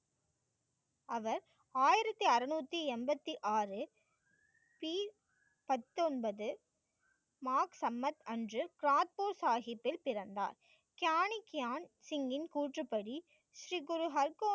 அவர் ஆயிரத்தி அறநூத்தி எண்பத்தி ஆறு சி பத்தொன்பது, மார்க் சம்பத் அன்று, கரத்பூர் சாகித்ஜியின் பிறந்தார். சாணக்கியான் சிங்கின் கூற்றுப்படி ஸ்ரீ குரு ஹல்கோவா